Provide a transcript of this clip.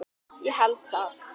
Ég held það.